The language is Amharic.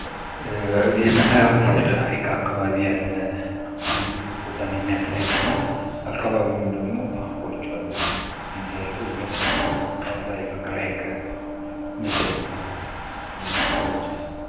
ይህ መምስሉ ላይ የምንመለከተው በጣናይ ሀይቅ ዳር የተነሳ አጂግ የሚያምር የተፈጥሮ ኣካባቢ ስፍራ ነው። አናንተ አዚህ ቦታ ሄዳችሑ ታውቃላችሑ?